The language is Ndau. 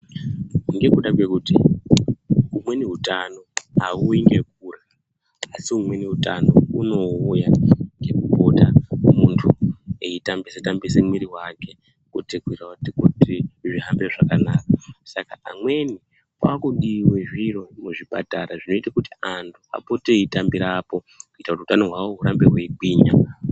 Ngekuda kwekuti umweni utano auuyi ngekurya, asi umweni utano hunouya munhu eipota eitambisa tambisa muviri wake kuti zvihambe zvakanaka. Saka pamweni pakudiwe zviro muzvipatara zvinoita kuti anhu apote eitambirapo kuitira kuti utano hwavo hurambe hweigwinya.